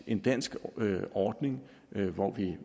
en dansk ordning hvor vi